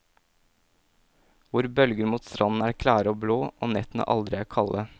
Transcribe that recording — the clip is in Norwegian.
Hvor bølger mot stranden er klare og blå, og nettene aldri er kalde.